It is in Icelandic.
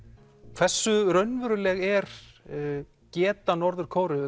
hversu raunveruleg er geta Norður Kóreu